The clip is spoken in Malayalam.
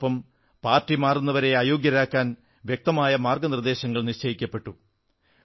അതോടൊപ്പം പാർട്ടി മാറുന്നവരെ അയോഗ്യരാക്കാൻ വ്യക്തമായ മാർഗ്ഗനിർദ്ദേശങ്ങൾ നിശ്ചയിക്കപ്പെട്ടു